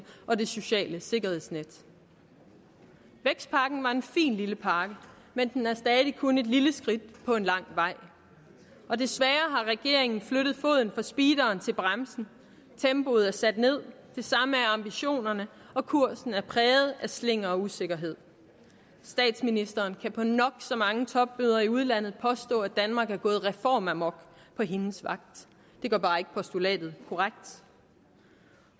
og det sociale sikkerhedsnet vækstpakken var en fin lille pakke men den er stadig kun et lille skridt på en lang vej desværre har regeringen flyttet foden fra speederen til bremsen tempoet er sat ned det samme er ambitionerne og kursen er præget af slinger og usikkerhed statsministeren kan på nok så mange topmøder i udlandet påstå at danmark er gået reformamok på hendes vagt det gør bare ikke postulatet korrekt